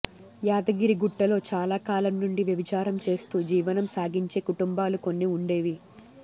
యాదగిరిగుట్టలో చాలా కాలం నుండి వ్యభిచారం చేస్తూ జీవనం సాగించే కుటుంబాలు కొన్ని ఉండేవి